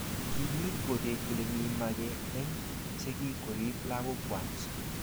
kiinyit kotet kole mi mage eng sikik koriib lakokwach